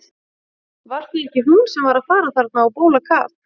Var það ekki hún sem var að fara þarna á bólakaf?